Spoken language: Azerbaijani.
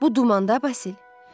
Bu dumanda, Vasil.